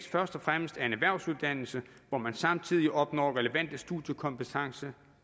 først og fremmest er en erhvervsuddannelse hvor man samtidig opnår relevante studiekompetenceniveauer